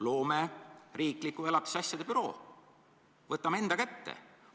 Loome riikliku elatisasjade büroo, võtame need asjad enda kätte!